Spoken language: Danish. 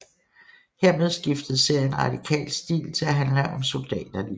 Hermed skiftede serien radikalt stil til at handle om soldaterlivet